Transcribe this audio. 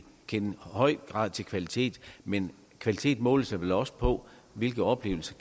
høj grad kender til kvalitet men kvalitet måles vel også på hvilke oplevelser